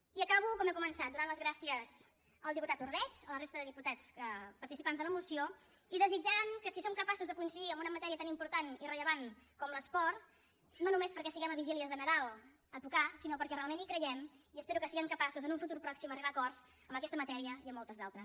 i acabo com he començat donant les gràcies al diputat ordeig a la resta de diputats participants de la moció i desitjant que si som capaços de coincidir en una matèria tan important i rellevant com l’esport no només perquè siguem a vigílies de nadal a tocar sinó perquè realment hi creiem i espero que siguem capaços en un futur pròxim d’arribar a acords en aquesta matèria i en moltes d’altres